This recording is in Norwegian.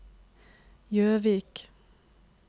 Gjøvik